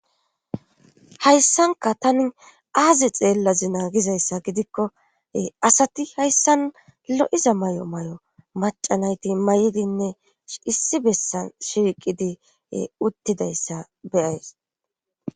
hayssanka tani aaze xeellazi naagizayssa gidikko asati hayssan lo7iza may7o may7o macanayti may7idinne issi bessan shiiqidi uttidayssa beyays